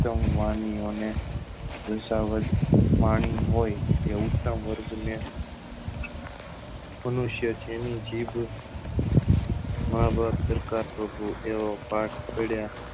વાણી ઓ ને રસાવ્દ વાણી હોય એ ઉઠતા વર્ગ ને મનુષ્ય જેની જીભ માં બાપ પાઠ પડ્યા